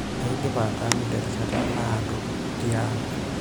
Aidipa ataanyu terishata naado tiang'.